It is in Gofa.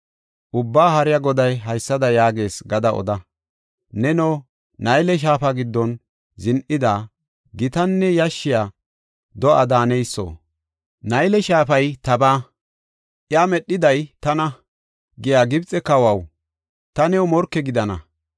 Ubbaa Haariya Goday haysada yaagees gada oda. ‘Neno, Nayle shaafa giddon zin7ida, gitanne yashshiya do7a daaneyso. Nayle shaafay tabaa; iya medhiday tana’ giya Gibxe kawaw, ta new morke gidana.